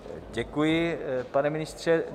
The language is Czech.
Děkuji, pane ministře.